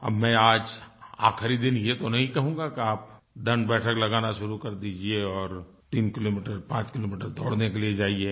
अब मैं आज आखिरी दिन ये तो नहीं कहूँगा कि आप दंडबैठक लगाना शुरू कर दीजिये और तीन किलोमीटर पाँच किलोमीटर दौड़ने के लिए जाइये